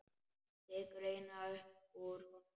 Tekur eina upp úr honum.